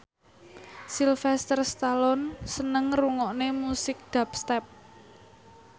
Sylvester Stallone seneng ngrungokne musik dubstep